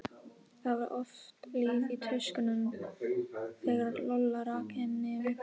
Það var oft líf í tuskunum þegar Lolla rak inn nefið.